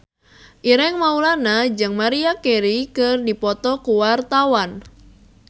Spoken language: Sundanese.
Ireng Maulana jeung Maria Carey keur dipoto ku wartawan